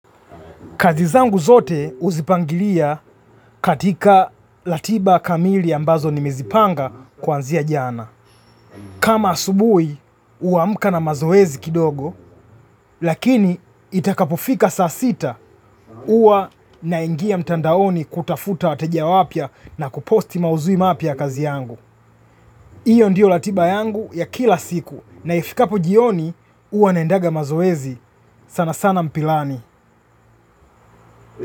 Kazi zangu zote uzipangilia katika latiba kamili ambazo ni mezipanga kuanzia jana. Kama asubui, huamkana mazoezi kidogo, lakini itakapofika saa sita, ua na ingia mtandaoni kutafuta wateja wapya na kuposti mauzui mapya ya kazi yangu. Iyo ndiyo latiba yangu ya kila siku, na ifikapo jioni, ua naendaga mazoezi sana sana mpilani.